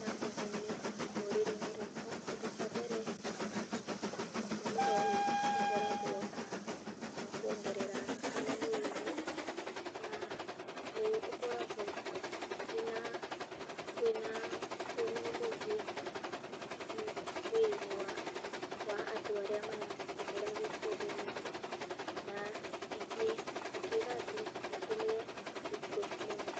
na ũguni rũrĩrĩ-inĩ rwakwa kĩndũ kĩa mbere mũmera ũyũ ũkoragwo na kwongerera thakame mwĩrĩ-inĩ, na nĩgũkoragwo na kwĩna ũguni mũingĩ mwĩrĩ-inĩ wa andũ arĩa maratũmĩra kĩndũ gĩkĩ. Na ingĩra andũ matũmĩre beetroot mũno.